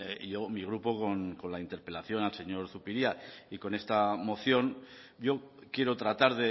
y yo mi grupo con la interpelación al señor zupiria y con esta moción yo quiero tratar